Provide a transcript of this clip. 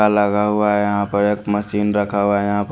लगा हुआ है यहाँ पर मशीन रखा हुआ यहाँ पर--